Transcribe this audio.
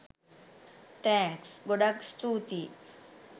Thanks! ගොඩක් ස්තුතියි